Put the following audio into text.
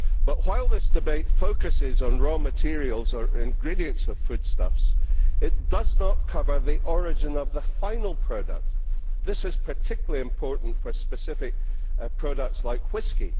But while this debate focuses on raw materials or ingredients of foodstuffs, it does not cover the origin of the final product. This is particularly important for specific products like whisky.